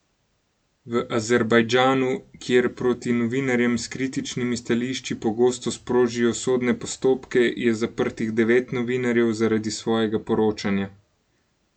V Azerbajdžanu, kjer proti novinarjem s kritičnimi stališči pogosto sprožijo sodne postopke, je zaprtih devet novinarjev zaradi svojega poročanja.